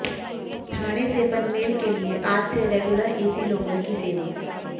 ठाणे से पनवेल से लिए आज से रेग्युलर एसी लोकल की सेवा